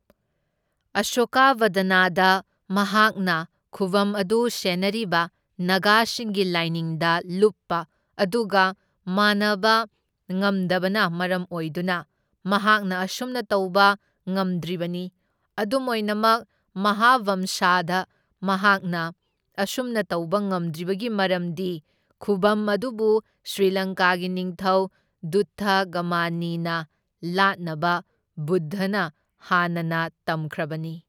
ꯑꯁꯣꯀꯥꯕꯗꯅꯗ ꯃꯍꯥꯛꯅ ꯈꯨꯕꯝ ꯑꯗꯨ ꯁꯦꯟꯅꯔꯤꯕ ꯅꯥꯒꯥꯁꯤꯡꯒꯤ ꯂꯥꯏꯅꯤꯡꯗ ꯂꯨꯞꯄ ꯑꯗꯨꯒ ꯃꯥꯟꯅꯕ ꯉꯝꯗꯕꯅ ꯃꯔꯝ ꯑꯣꯏꯗꯨꯅ ꯃꯍꯥꯛꯅ ꯑꯁꯨꯝꯅ ꯇꯧꯕ ꯉꯝꯗ꯭ꯔꯤꯕꯅꯤ, ꯑꯗꯨꯝ ꯑꯣꯏꯅꯃꯛ ꯃꯍꯥꯕꯝꯁꯥꯗ ꯃꯍꯥꯛꯅ ꯑꯁꯨꯝꯅ ꯇꯧꯕ ꯉꯝꯗ꯭ꯔꯤꯕꯒꯤ ꯃꯔꯝꯗꯤ ꯈꯨꯚꯝ ꯑꯗꯨꯕꯨ ꯁ꯭ꯔꯤꯂꯪꯀꯥꯒꯤ ꯅꯤꯡꯊꯧ ꯗꯨꯠꯊꯒꯃꯅꯤꯅ ꯂꯥꯠꯅꯕ ꯕꯨꯗꯙꯅ ꯍꯥꯟꯅꯅ ꯇꯝꯈ꯭ꯔꯕꯅꯤ꯫